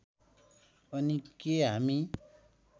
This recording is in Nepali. अनि के हामी